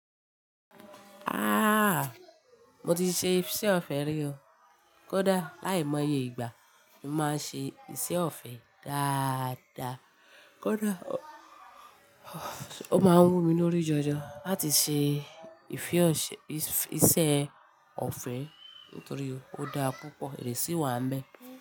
Ah! Mo ti ṣe iṣẹ́ ọ̀fẹ́ rí o. Kódà láìmọye ìgbà, mo máa ń ṣe iṣẹ́ ọ̀fẹ́ dáadáa. Kódà ó máa ń wù mí lórí jọjọ láti ṣe ìfi ọṣẹ, ìṣe ọ̀fẹ́ nítorí ó dá púpọ̀, ìrẹsì wà mẹ́.